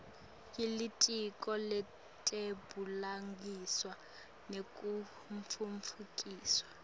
yelitiko letebulungiswa nekutfutfukiswa